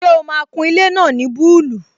Ṣé o máa kun ilé náà ní búlù?